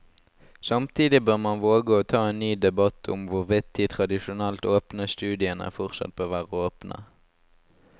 Samtidig bør man våge å ta en ny debatt om hvorvidt de tradisjonelt åpne studiene fortsatt bør være åpne.